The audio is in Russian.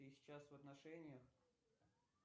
ты сейчас в отношениях